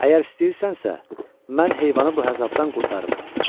Əgər istəyirsənsə, mən heyvanı bu əzabdan qurtararam.